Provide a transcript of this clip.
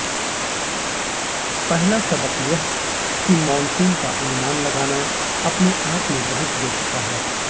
पहला सबक यह कि मॉनसून का अनुमान लगाना अपने आप में बहुत बेतुका है